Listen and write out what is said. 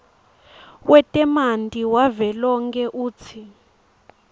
wetemanti wavelonkhe utsi